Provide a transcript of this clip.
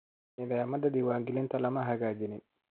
Nidaamyada diiwaangelinta lama hagaajin